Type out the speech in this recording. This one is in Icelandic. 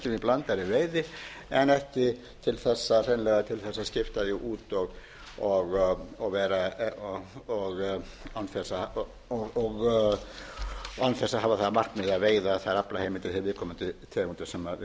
blandaðri veiði en ekki til þess hreinlega að skipta því út og án þess að hafa það að markmiði að veiða þær aflaheimildir þær viðkomandi tegundir sem viðkomandi er með heldur að skipta þeim út fyrir